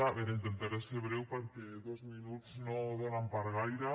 a veure intentaré ser breu perquè dos minuts no donen per a gaire